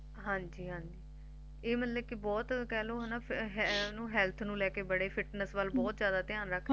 ਹਾਂਜੀ ਹਾਂਜੀ ਇਹ ਮਤਲਬ ਕਿ ਬਹੁਤ ਕਹਿਲੋ ਹੈਨਾ Health ਨੂੰ ਲੈਕੇ ਬੜੇ Fitness ਵੱਲ ਬਹੁਤ ਜਾਦਾ ਧਿਆਨ ਰੱਖਦੇ